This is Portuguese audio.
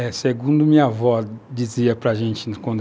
segundo a minha avó dizia para a gente quando